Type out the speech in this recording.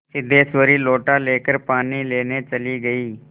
सिद्धेश्वरी लोटा लेकर पानी लेने चली गई